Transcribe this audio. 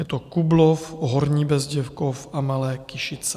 Je to Kublov, Horní Bezděkov a Malé Kyšice.